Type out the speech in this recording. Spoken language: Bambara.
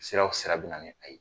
Sira o sira bɛ na ni a ye.